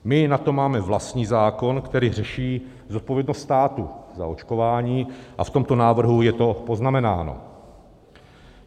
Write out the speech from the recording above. My na to máme vlastní zákon, který řeší zodpovědnost státu za očkování, a v tomto návrhu je to poznamenáno.